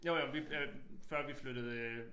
Jo jo vi øh før vi flyttede øh